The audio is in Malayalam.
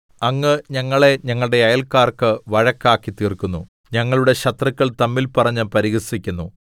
അങ്ങ് ഞങ്ങളെ ഞങ്ങളുടെ അയല്ക്കാർക്ക് വഴക്കാക്കിത്തീർക്കുന്നു ഞങ്ങളുടെ ശത്രുക്കൾ തമ്മിൽ പറഞ്ഞു പരിഹസിക്കുന്നു